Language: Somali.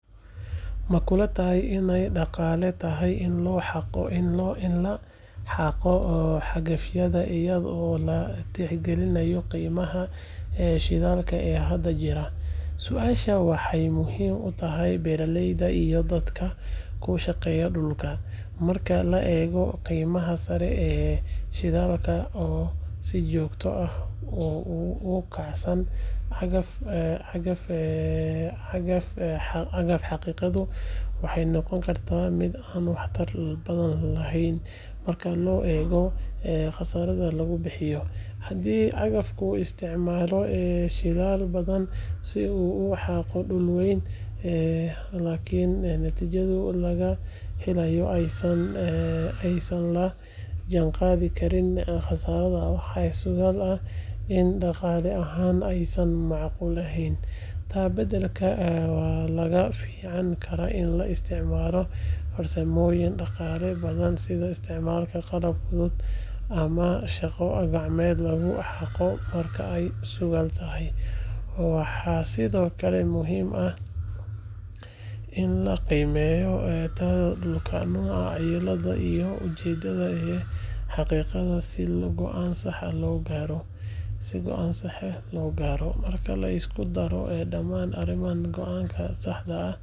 Makulatahay inay daqale tahay ini lahago hagafyada iyado laticgalinayo gimaha shidalka ee hada jiraa, suasha waxay muxiim utaxay beraleyda iyo dadka kushageya dulka, marka laego gimaha sare ee shidalka oo si jogta ah ukacsan, cagaf hagigadu waxay nogonkarta mid aan waxtar badan lehen, si loego qasarada lagubihiyo, si cagafku uisticmalo si uu uhago dul wen lakin natijadu lagahelayo ay tahay aysan lajangadi karini qasaraha in daqale ahan aysan macquul ahen, taa badalka waxa lagaficankaraa in laisticmalo farsamoyin daqalo badan si loheleo shaga gacmed marka ay cusuwantahay, waxa sidhokale muxiim ah in lagimeyo tlnoca duulka ama cimiladu ama ujedada, hagigada si goan sah ah logaro, marka.